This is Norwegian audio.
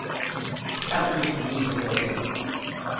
fem tusen ni hundre og to